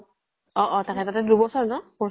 অ অ তাকেতো । তাইৰ দুবছৰ ন course তো?